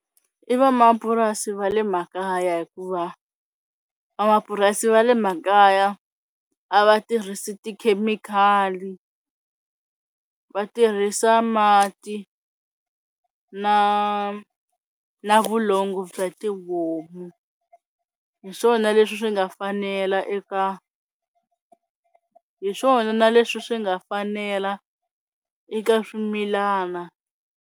I vamapurasi va le makaya hikuva vamapurasi va le makaya a va tirhisi tikhemikhali va tirhisa mati na na vulongo bya tihomu hi swona leswi swi nga fanela eka hi swona na leswi swi nga fanela eka swimilana.